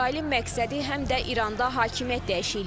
İsrailin məqsədi həm də İranda hakimiyyət dəyişikliyidir.